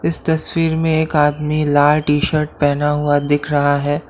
इस तस्वीर में एक आदमी लाल टी शर्ट पहना हुआ दिख रहा है।